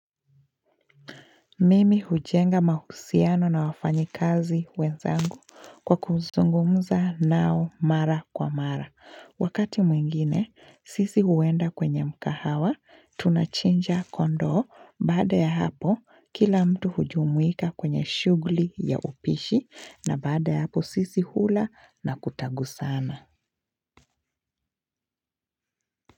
Mimi hujenga mahusiano na wafanyikazi wenzangu kwa kuzungumza nao mara kwa mara. Wakati mwingine, sisi huenda kwenye mkahawa, tunachinja kondo baada ya hapo kila mtu hujumuika kwenye shugli ya upishi na baada ya hapo sisi hula na kutangusana.